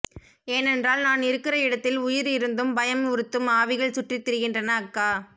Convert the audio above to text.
ஏனென்றால் நான் இருக்குற இடத்தில உயிர் இருந்தும் பயம் உறுத்தும் ஆவிகள் சுற்றி திரிகின்றன அக்கா